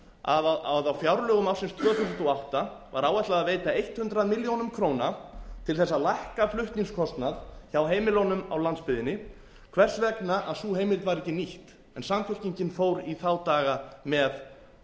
að á fjárlögum ársins tvö þúsund og átta var áætlað að veita hundrað milljónir króna til þess að lækka flutningskostnað hjá heimilunum á landsbyggðinni hvers vegna að sú heimild var ekki nýtt en samfylkingin fór í þá daga með